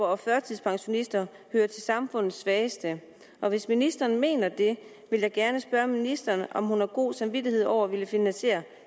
og førtidspensionister hører til samfundets svageste og hvis ministeren mener det vil jeg gerne spørge ministeren om hun har god samvittighed over at ville finansiere